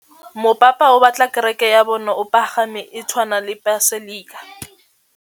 Mopapa o batla kereke ya bone e pagame, e tshwane le paselika.